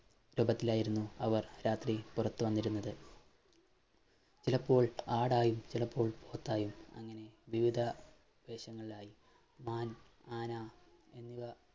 ഇടക്കിലായിരുന്നു അവർ രാത്രി പുറത്തുവന്നിരുന്നത് ചിലപ്പോൾ ആടായും ചിലപ്പോൾ പോത്തായും അങ്ങനെ വിവിധ വേഷങ്ങളിലായി ആം ആന എന്നിവ